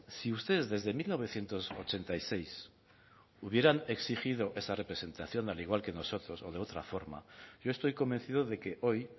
si ustedes desde mil novecientos ochenta y seis hubieran exigido esa representación al igual que nosotros o de otra forma yo estoy convencido de que hoy